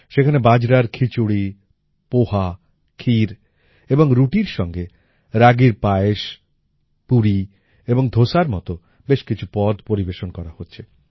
সেখানে বাজারার খিচুড়ি পোহা ক্ষীর এবং রুটির সঙ্গে রাগীর পায়েস পুরী এবং ধোসার মত বেশ কিছু পদ পরিবেশন করা হচ্ছে